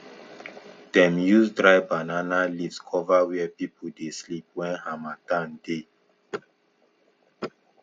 dem use dry banana leaves cover where people dey sleep when harmattan dey